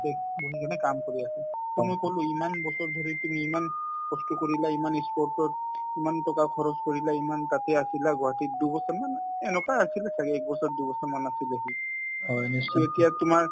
তাতে বহি কিনে কাম কৰি আছে to মই কলো ইমান বছৰ ধৰি তুমি ইমান কষ্ট কৰিলা ইমান ই sport তত ইমান টকা খৰচ কৰিলা ইমান তাতে আছিলা গুৱাহাটীত দুবছৰমান এনেকুৱাই আছিলে ছাগে একবছৰ দুবছৰ মান আছিলে সি to এতিয়া তোমাৰ